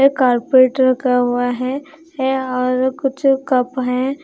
Carpet रखा हुआ है और कुछ कप हैं।